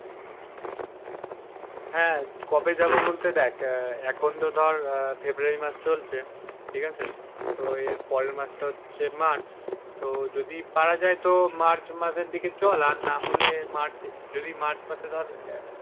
হা, কবে যাব বলতে দেখ আহ এখন তো ধর আহ February মাস চলছে ঠিক আছে, তো এর পরের মাস টা হচ্ছে March তো যদি পারা যায় তো March মাসের দিকে চল আর না হলে March যদি March মাসে ধর আহ।